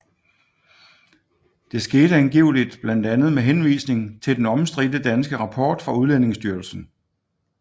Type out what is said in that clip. Det skete angiveligt blandt andet med henvisning til den omstridte danske rapport fra Udlændingestyrelsen